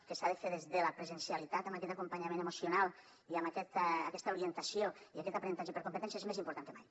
que s’ha de fer des de la presencialitat amb aquest acompanyament emocional i amb aquesta orientació i aquest aprenentatge per competències més important que mai